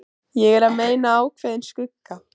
Ég er að meina ákveðinn skugga.